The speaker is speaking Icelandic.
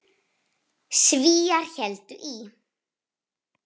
Svíar héldu í